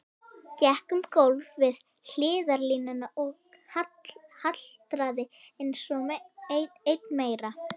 Gekk um gólf við hliðarlínuna og haltraði enn meira.